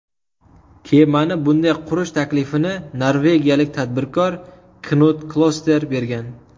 Kemani bunday qurish taklifini norvegiyalik tadbirkor Knud Kloster bergan.